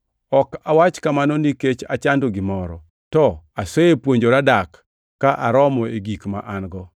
Ok awach kamano nikech achando gimoro, to asepuonjora dak ka aromo e gik ma an-go.